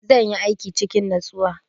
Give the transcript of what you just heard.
Zan yi aikin cikin natsuwa.